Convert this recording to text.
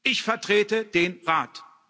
Ich vertrete den Rat.